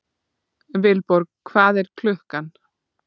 Vilborg, hvað er klukkan?